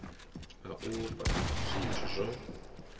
a u fhaa zwithu zwo